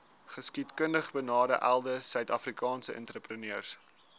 geskiedkundigbenadeelde suidafrikaanse entrepreneurs